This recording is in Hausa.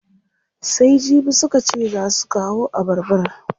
Sai jibi suka ce zaa su kawo abarbar?